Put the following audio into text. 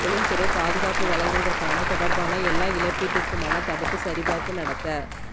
தொழில்துறை பாதுகாப்பு வழங்குவதற்கான தொடர்பான எல்லா இழப்பீட்டிற்குமான தடுப்பு சரிபார்ப்பு நடத்த